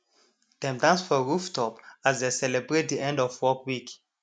dem dance for rooftop as dey celebrate de end of workweek